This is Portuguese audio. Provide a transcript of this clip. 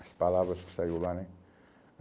as palavras que saíram lá, né?